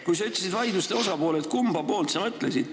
Kui sa ütlesid, et vaidluste osapooled ei ole rahul, kumba poolt sa mõtlesid?